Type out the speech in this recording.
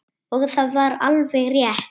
Og það var alveg rétt.